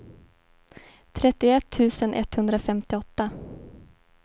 trettioett tusen etthundrafemtioåtta